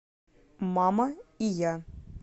мама и я